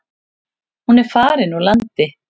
Hún er farin úr landi.